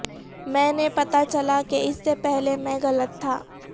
میں نے پتہ چلا کہ اس سے پہلے میں غلط تھا